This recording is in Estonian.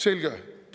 Selge.